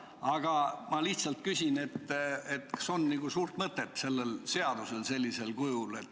Aga ma lihtsalt küsin, kas oleks suurt mõtet sellel seadusel sellisel kujul.